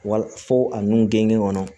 Wa fo a nun gengen kɔnɔ